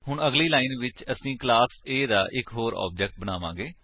ਅਗਲੀ ਲਾਇਨ ਵਿੱਚ ਅਸੀ ਕਲਾਸ A ਦਾ ਇੱਕ ਹੋਰ ਆਬਜੇਕਟ ਬਣਾਵਾਂਗੇ